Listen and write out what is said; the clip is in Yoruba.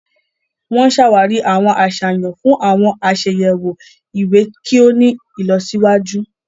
Wọn n ṣawari awọn aṣayan fun awọn aṣayẹwo iwe kí o ní ìlọsíwájú.